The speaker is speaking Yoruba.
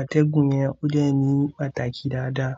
atẹ́gùn yẹn ó lè ní pàtàkì dáadáa.